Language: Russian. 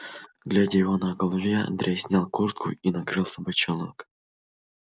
глядя его на голове андрей снял куртку и накрылся бочонок